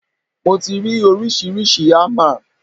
Mo ti rí oríṣiríṣi ámà.